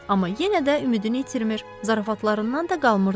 Amma yenə də ümidini itirmir, zarafatlarından da qalmırdı.